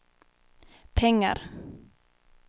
pengar